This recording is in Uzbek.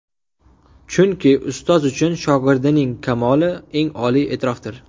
Chunki ustoz uchun shogirdining kamoli eng oliy e’tirofdir”.